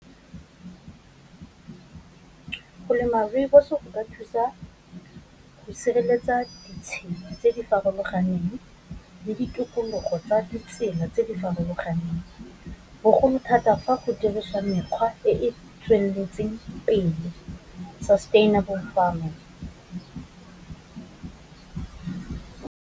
Go lema rooibos go ka thusa go sireletsa ditshimo tse di farologaneng le ditukulogo tsa ditsela tse di farologaneng, bogolo thata fa go dirisa mekgwa e e tsweletseng pele sustainable farming.